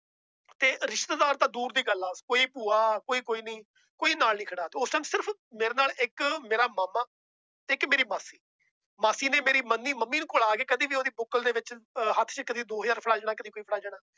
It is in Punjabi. ਤੇ ਰਿਸ਼ਤੇਦਾਰ ਤਾਂ ਦੂਰ ਦੀ ਗੱਲ ਆ ਕੋਈ ਭੂਆ ਕੋਈ ਕੋਈ ਨੀ ਕੋਈ ਨਾਲ ਨੀ ਖੜਾ ਤੇ ਉਸ time ਸਿਰਫ਼ ਮੇਰੇ ਨਾਲ ਇੱਕ ਮੇਰਾ ਮਾਮਾ ਇੱਕ ਮੇਰੀ ਮਾਸੀ, ਮਾਸੀ ਨੇ ਮੇਰੀ ਮੰਮੀ ਮੰਮੀ ਕੋਲ ਆ ਕੇ ਕਦੇ ਵੀ ਉਹਦੀ ਬੁੱਕਲ ਦੇ ਵਿੱਚ ਹੱਥ ਚ ਕਦੇ ਦੋ ਹਜ਼ਾਰ ਫੜਾ ਜਾਣਾ ਕਦੇ ਕੋਈ ਫੜਾ ਜਾਣਾ।